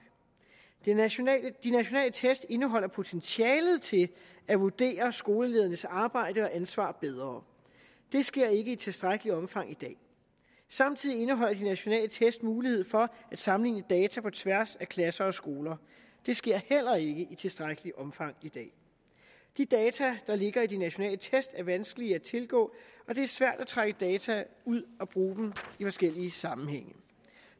de nationale test indeholder potentialet til at vurdere skoleledernes arbejde og ansvar bedre det sker ikke i tilstrækkeligt omfang i dag samtidig indeholder de nationale test mulighed for at sammenligne data på tværs af klasser og skoler det sker heller ikke i tilstrækkeligt omfang i dag de data der ligger i de nationale test er vanskelige at tilgå og det er svært at trække data ud og bruge dem i forskellige sammenhænge